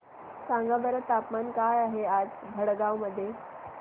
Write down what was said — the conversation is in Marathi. सांगा बरं तापमान काय आहे आज भडगांव मध्ये